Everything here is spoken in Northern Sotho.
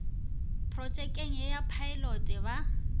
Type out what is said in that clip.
protšekeng ye ya phaelote ba